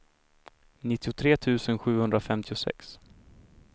nittiotre tusen sjuhundrafemtiosex